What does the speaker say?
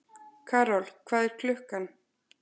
Karol, hvað er klukkan?